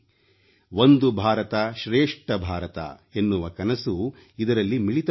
ಒಂದು ಭಾರತ ಶ್ರೇಷ್ಠ ಭಾರತ ಎನ್ನುವ ಕನಸು ಇದರಲ್ಲಿ ಮಿಳಿತಗೊಂಡಿದೆ